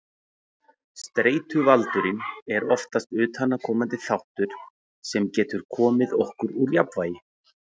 Streituvaldurinn er oftast utanaðkomandi þáttur sem getur komið okkur úr jafnvægi.